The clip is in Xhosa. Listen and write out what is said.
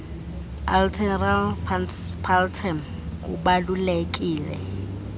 alteram partem ubalulekile